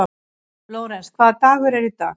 Lórens, hvaða dagur er í dag?